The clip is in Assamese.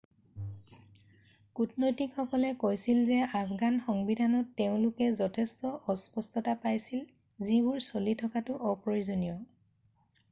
কূটনৈতিকসকলে কৈছিল যে আফগান সংবিধানত তেওঁলোকে যথেষ্ট অস্পষ্টতা পাইছিল যিবোৰ চলি থকাটো অপ্ৰয়োজনীয়